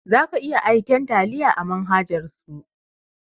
Za ka iya aika taliya a manhajan su